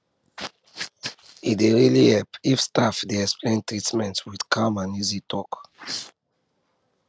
e dey really really help if staff dey explain treatment with calm and easy talk